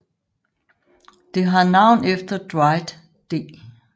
Det har navn efter Dwight D